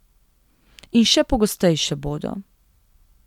In še pogostejše bodo.